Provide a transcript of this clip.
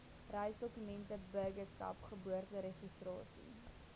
reisdokumente burgerskap geboorteregistrasie